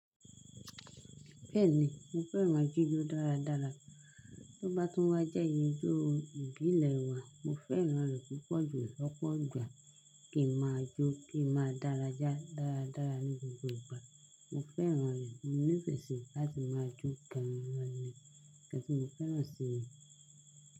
Bẹ́ẹ̀ni, mo fẹ́ràn jijo dáradára. Tó bá tún wá jẹ́ ijó ìbílẹ̀ wa, mo fẹ́ràn rẹ̀ púpọ̀ jù lọ́pọ̀ ìgbà. Kí máa jó, kí máa dárayá dáradára ní gbogbo ìgbà. Mo fẹ́ràn rẹ̀, mo nífẹ̀ẹ́ sí i láti máa jó gan ní. Nnkan tí mo fẹ́ràn sí i.